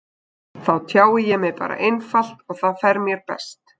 Þá tjái ég mig bara einfalt og það fer mér best.